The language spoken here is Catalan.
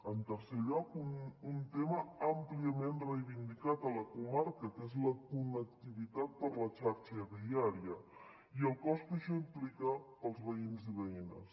en tercer lloc un tema àmpliament reivindicat a la comarca que és la connectivitat per a la xarxa viària i el cost que això implica per als veïns i veïnes